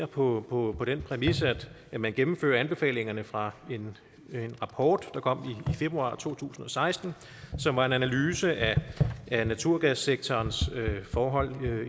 på på den præmis at man gennemfører anbefalingerne fra en rapport der kom i februar to tusind og seksten som er en analyse af naturgassektorens forhold